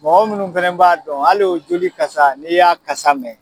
Mɔgɔ munnu fana b'a dɔn hali o joli kasa n'i y'a kasa mɛn